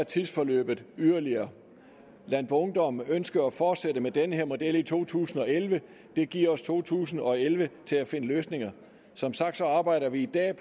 tidsforløbet yderligere landboungdom ønsker at fortsætte med den her model i to tusind og elleve og det giver os to tusind og elleve til at finde løsninger som sagt arbejder vi i dag